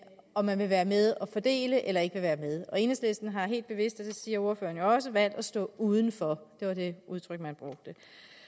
om man vil være med til at fordele eller ikke vil være med enhedslisten har helt bevidst og det siger ordføreren jo også valgt at stå uden for det var det udtryk man brugte